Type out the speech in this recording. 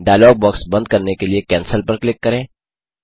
dialogue box बंद करने के लिए कैंसेल पर क्लिक करें